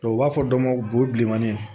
u b'a fɔ dɔw ma ko bo bilenmanin